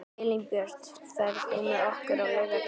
Elínbjört, ferð þú með okkur á laugardaginn?